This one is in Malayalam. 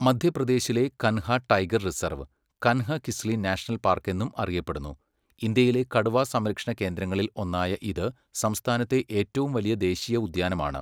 മധ്യപ്രദേശിലെ Kanha tiger reserve, Kanhakisli national park എന്നും അറിയപ്പെടുന്നു. ഇന്ത്യയിലെ കടുവ സംരക്ഷണ കേന്ദ്രങ്ങളിൽ ഒന്നായ ഇത് സംസ്ഥാനത്തെ ഏറ്റവും വലിയ ദേശീയ ഉദ്യാനമാണ്.